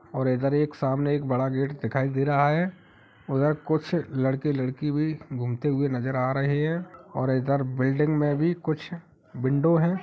और इधर एक सामने एक बड़ा गेट दिखाए दे रहा है उधर कुछ लड़के-लड़की भी घूमते हुए नज़र आ रहें हैं और इधर बिल्डिंग में भी कुछ विंडो है ।